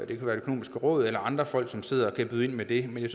det økonomiske råd eller andre folk som sidder og kan byde ind med det jeg